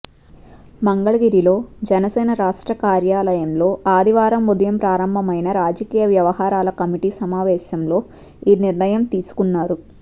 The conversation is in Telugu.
మంగళగిరిలో జనసేన రాష్ట్ర కార్యాలయంలో ఆదివారం ఉదయం ప్రారంభమైన రాజకీయ వ్యవహారాల కమిటీ సమావేశంలో ఈ నిర్ణయం తీసుకున్నారు